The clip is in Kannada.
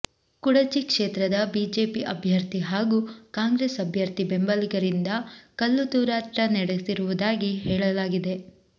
ಕುಡಚಿ ಕ್ಷೇತ್ರದ ಬಿಜೆಪಿ ಅಭ್ಯರ್ಥಿ ಹಾಗೂ ಕಾಂಗ್ರೆಸ್ ಅಭ್ಯರ್ಥಿ ಬೆಂಬಲಿಗರಿಂದ ಕಲ್ಲು ತೂರಾಟ ನಡೆಸಿರುವುದಾಗಿ ಹೇಳಲಾಗಿದೆ